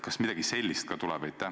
Kas midagi sellist ka tuleb?